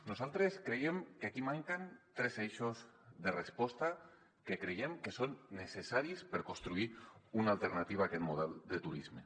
nosaltres creiem que aquí manquen tres eixos de resposta que creiem que són necessaris per construir una alternativa a aquest model de turisme